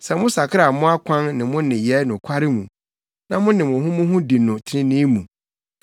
Sɛ mosakra mo akwan ne mo nneyɛe nokware mu, na mo ne mo ho mo ho di no trenee mu,